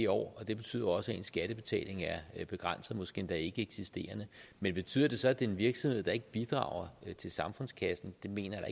år og det betyder også at ens skattebetaling er begrænset måske endda ikkeeksisterende men betyder det så at det er en virksomhed der ikke bidrager til samfundskassen det mener jeg